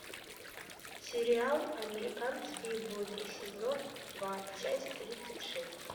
сериал американские боги сезон два часть тридцать шесть